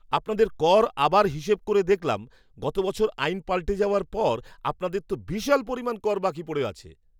আপনাদের কর আবার হিসেব করে দেখলাম, গত বছর আইন পাল্টে যাওয়ার পর আপনাদের তো বিশাল পরিমাণ কর বাকি পড়ে আছে!